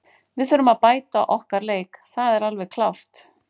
Við þurfum að bæta okkar leik, það er alveg klárt.